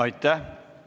Aitäh!